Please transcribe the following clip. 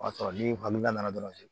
O y'a sɔrɔ ni nana dɔrɔn